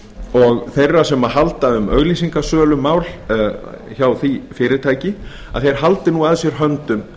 og þeirra sem halda um auglýsingasölumál hjá því fyrirtæki að þeir haldi nú að sér höndum